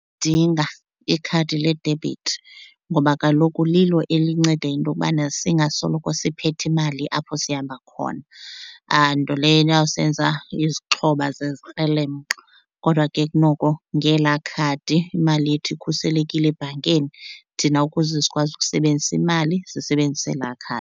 Dinga ikhadi ledebhithi ngoba kaloku lilo elinceda into yokubana singasoloko siphethe imali apho sihamba khona, nto leyo eyawusenza izixhoba zezikrelemnqa. Kodwa ke kunoko ngelaa khadi imali yethu ikhuselekile ebhankini, thina ukuze sikwazi ukusebenzisa imali sisebenzisa elaa .